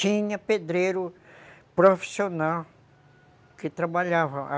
Tinha pedreiro profissional que trabalhava.